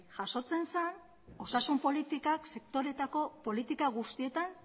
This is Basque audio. jasotzen zen osasun politikak sektoreetako politika guztietan